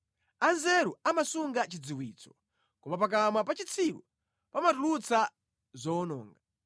Anzeru amasunga chidziwitso koma pakamwa pa chitsiru pamatulutsa zowononga.